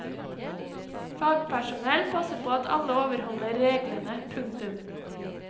Fagpersonell passer på at alle overholder reglene. punktum